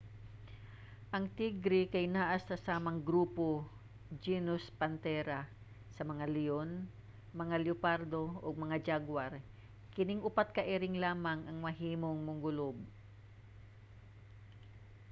ang tigre kay anaa sa samang grupo genus panthera sa mga leyon mga leopardo ug mga jaguar. kining upat ka iring lamang ang mahimong mongulob